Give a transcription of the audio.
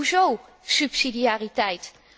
Hoezo subsidiariteit?